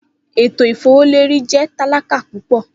Eto ifowoleri jẹ talaka pupọ.